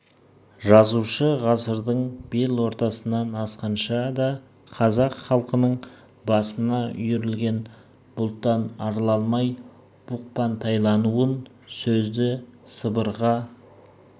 жазушы ғасырдың бел ортасынан асқанша да қазақ халқының басына үйірілген бұлттан арыла алмай бұқпантайлауын сөзді сыбырға